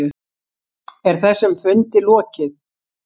Er þessum fundi lokið?